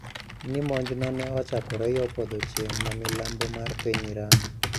Ni monjno ne ochakore yo podho chieng` ma milambo mar piny Iran